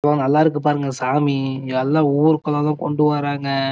இவ்ளோ நல்ல இருக்கு பாருங்க சாமி இதெல்ல ஊருக்குள்ள தான் கொண்டு வராங்க